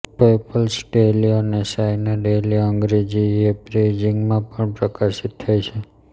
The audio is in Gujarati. પઈપલ્સ ડેઈલી અને ચાઈના ડેઈલી અંગ્રેજી એ બેઇજિંગમાં પણ પ્રકાશિત થાય છે